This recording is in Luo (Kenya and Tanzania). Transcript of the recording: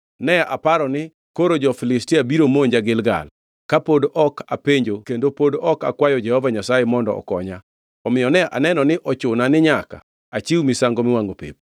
ne aparo ni, ‘Koro jo-Filistia biro monja Gilgal, ka pod ok apenjo kendo pod ok akwayo Jehova Nyasaye mondo okonya.’ Omiyo ne aneno ni ochuna ni nyaka achiw misango miwangʼo pep.”